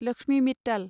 Lakshmi Mittal